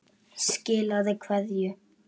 Skilaðu kveðju.